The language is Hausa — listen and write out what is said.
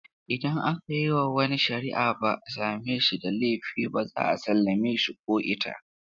Idan aka yi wa wani shari’a ba a same shi da laifi ba, za a sallame shi ko ita.